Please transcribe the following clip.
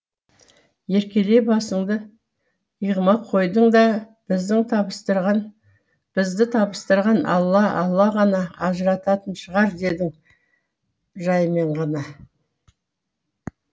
еркелей басыңды иығыма қойдың да бізді табыстырған алла алла ғана ажырататын шығар дедің жаймен ғана